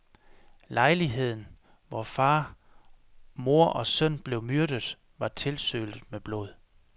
Lejligheden, hvor far, mor og søn blev myrdet, var tilsølet med blod.